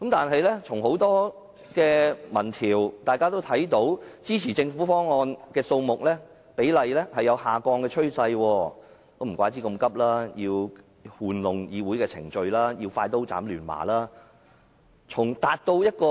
很多民意調查也顯示，支持政府方案的人數比例呈下降的趨勢，難怪政府這麼趕急，要玩弄議會的程序，要快刀斬亂麻。